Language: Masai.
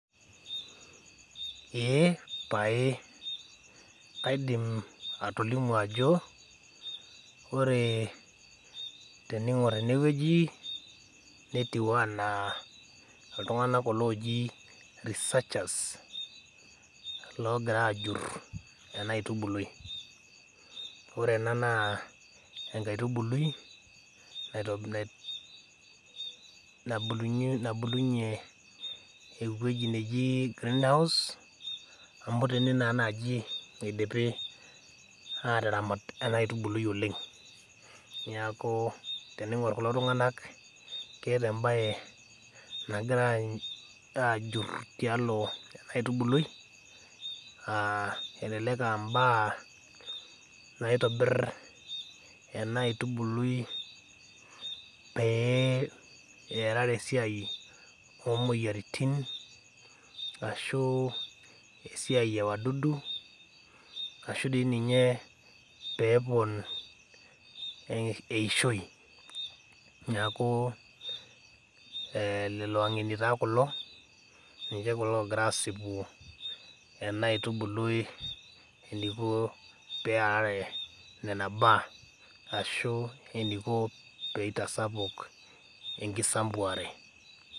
eeh pae kaidim atolimu ajo teningor eneweji netiu enaa iltunganak kulo oji researchers loogira ajuru ena aitubului. ore ena naa enkaitubuli nabulunyie eweji nejia greenhouse amu tene naa naji eidimi ataramata ena aitubului oleng. neeku teningor kulo tunganak keeta embae nagira ajuru tialo ena aitubului ,elelek aa mbaa nairobir ena aitubului pee erare esiai oomoyiaritin ashu esiai ewadudu ashu dei ninye pee epon eishoi ,neeku lelo angeni taa kulo ninche kulo ogira asipu ena aitubului eniko pee earare nena baa ashu eniko pee eitasapuk enkisambuare.